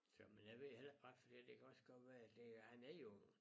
SÅ men jeg ved heller ikke ret flere det kan også godt være at det er han er jo